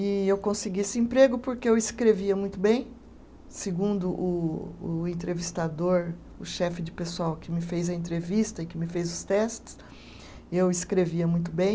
E eu consegui esse emprego porque eu escrevia muito bem, segundo o o entrevistador, o chefe de pessoal que me fez a entrevista e que me fez os testes, eu escrevia muito bem.